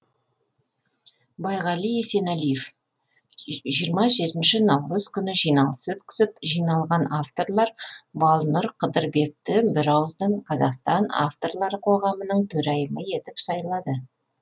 байғали есенәлиев жиырма жетінші наурыз күні жиналыс өткізіп жиналған авторлар балнұр қыдырбекті бірауыздан қазақстан авторлары қоғамының төрайымы етіп сайлады